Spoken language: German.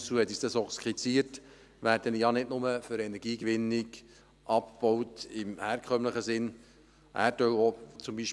Trüssel hat uns dies skizziert – werden ja nicht nur zur Energiegewinnung im herkömmlichen Sinn abgebaut.